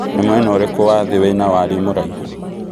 nĩ mwena ũrikũ wa thĩ wĩna warie mũraihu